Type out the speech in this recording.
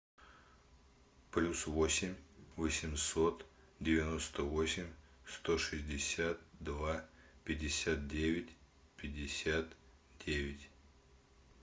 плюс восемь восемьсот девяносто восемь сто шестьдесят два пятьдесят девять пятьдесят девять